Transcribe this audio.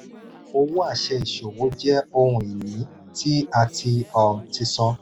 owó àṣẹ ìṣòwò jẹ ohun-ini tí a um ti san.